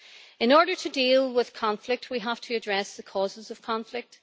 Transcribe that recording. In order to deal with conflict we have to address the causes of conflict.